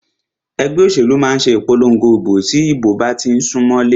Ẹgbẹ́ òṣèlú máà ṣe ìpòlongo ìbò tí ìdìbò bá tí ń sún mọlé.